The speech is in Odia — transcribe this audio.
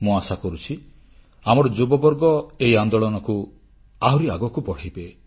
ମୁଁ ଆଶା କରୁଛି ଆମର ଯୁବବର୍ଗ ଏହି ଆନ୍ଦୋଳନକୁ ଆହୁରି ଆଗକୁ ବଢ଼ାଇବେ